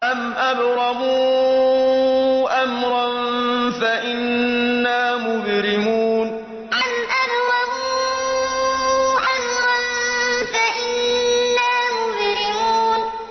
أَمْ أَبْرَمُوا أَمْرًا فَإِنَّا مُبْرِمُونَ أَمْ أَبْرَمُوا أَمْرًا فَإِنَّا مُبْرِمُونَ